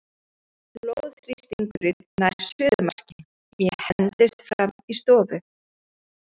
Blóðþrýstingurinn nær suðumarki, ég hendist fram í stofu.